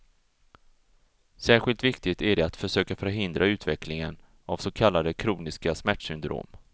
Särskilt viktigt är det att försöka förhindra utvecklingen av så kallade kroniska smärtsyndrom.